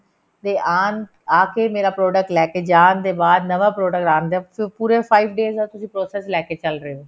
ਦੇਆਣ ਆ ਕੇ ਮੇਰਾ product ਲੈਕੇ ਜਾਣ ਦੇ ਬਾਅਦ ਨਵਾਂ product ਆਣ ਦੇ ਬਾਅਦ ਪੂਰਾ five days ਦਾ process ਲੈਕੇ ਚੱਲ ਰਹੇ ਹੋ